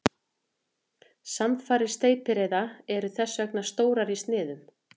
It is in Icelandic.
Samfarir steypireyða eru þess vegna stórar í sniðum.